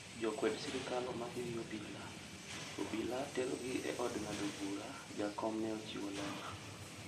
"Jo kwed sirikal omaki gi obila, obila tero gi e od ng'ado bura,"Jakom ne ochiwo ler